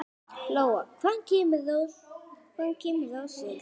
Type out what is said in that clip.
Lóa: Hvaðan kemur rósin?